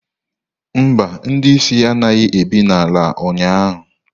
Mba, ndị isi anaghị ebi n'ala ụnyahụ